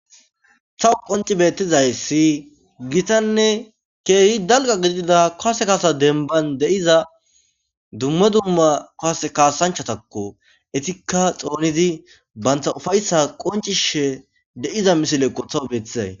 Tawu qonci bettizay si gitanne keehi dalga gidida koase kaasa denban deiza dumme dumma koase kaasanchatakko etikka xoonidi bantha ufayssa qoncishe de'iza misilekqo tawu beeththizay.